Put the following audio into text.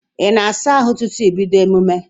Ị na-asa ahụ tupu ị bídó emume?